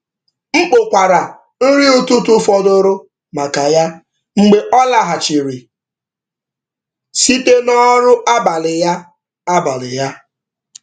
M kpokwara nri ụtụtụ fọdụrụ maka ya mgbe ọ lọghachiri site na ọrụ abalị ya.